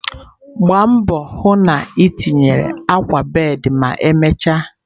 Gbaa mbọ hụ na itinye akwa bed ma emechaa!